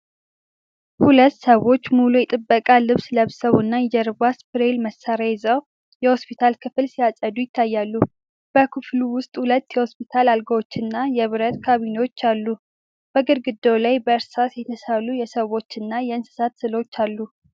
ሁለት ሰዎች ሙሉ የጥበቃ ልብስ ለብሰው እና የጀርባ ስፕሬይ መሳሪያ ይዘው የሆስፒታል ክፍል ሲያጸዱ ይታያሉ። በክፍሉ ውስጥ ሁለት የሆስፒታል አልጋዎችና የብረት ካቢኔት አሉ። በግድግዳው ላይ በእርሳስ የተሳሉ የሰዎችና እንስሳት ስዕሎች አሉ።